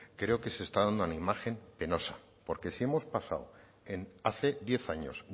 creo que se está dando una imagen penosa porque si hemos pasado en hace diez años